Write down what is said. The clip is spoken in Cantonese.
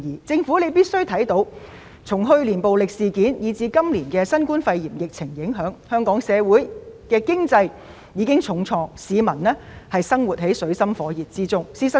政府必須明白，由於去年的暴力事件，以至今年的新冠肺炎疫情，香港經濟受了重創，市民生活在水深火熱中。